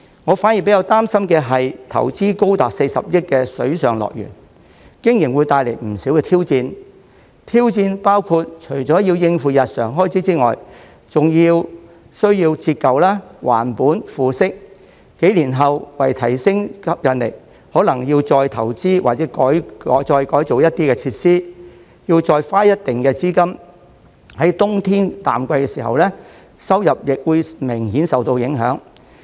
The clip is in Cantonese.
我反而比較擔心的是投資高達40億元的水上樂園，經營會帶來不少挑戰，挑戰包括除了要應付日常開支外，還需要折舊、還本、付息；幾年後，為提升吸引力，可能要再投資或改造一些設施，要再花一定的資金；在冬天淡季時，收入亦會明顯受到影響。